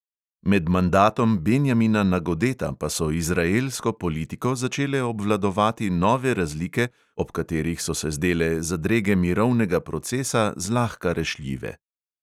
Med mandatom benjamina nagodeta pa so izraelsko politiko začele obvladovati nove razlike, ob katerih so se zdele zadrege mirovnega procesa zlahka rešljive.